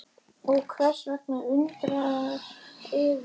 Og hvers vegna undrar yður það?